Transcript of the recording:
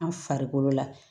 An farikolo la